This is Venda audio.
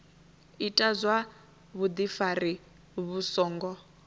ita zwa vhudifari vhu songo